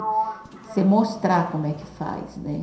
Você mostrar como é que faz, né?